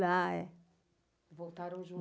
Lá, é. Voltaram juntos?